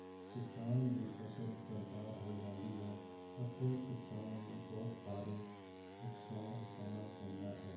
ਕਿਸਾਨ ਦੀ ਫਸਲ ਬਰਬਾਦ ਹੋ ਜਾਂਦੀ ਹੈ ਅਤੇ ਕਿਸਾਨ ਨੂੰ ਬਹੁਤ ਭਾਰੀ ਨੁਕਸਾਨ ਉਠਾਉਣ ਪੈਂਦਾ ਹੈ।